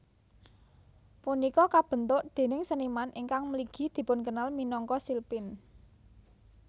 Punika kabentuk déning seniman ingkang mligi dipunkenal minangka shilpins